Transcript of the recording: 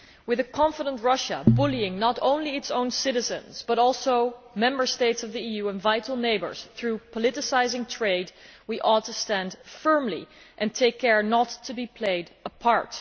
With a confident Russia bullying not only its own citizens but also Member States of the EU and vital neighbours through politicising trade, we must stand firmly and take care not to be played apart.